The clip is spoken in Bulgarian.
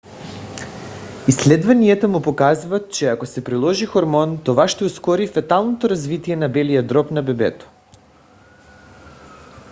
изследванията му показват че ако се приложи хормон това ще ускори феталното развитие на белия дроб на бебето